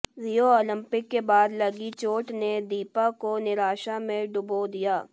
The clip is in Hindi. रियो ओलंपिक के बाद लगी चोट ने दीपा को निराशा में डुबो दिया